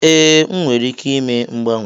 Ee, m nwere ike ime mgbanwe.